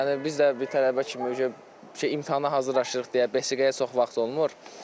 Yəni biz də bir tələbə kimi imtahana hazırlaşırıq deyə besiqəyə çox vaxt olmur.